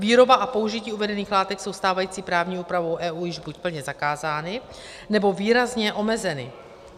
Výroba a použití uvedených látek jsou stávající právní úpravou EU již buď plně zakázány, nebo výrazně omezeny.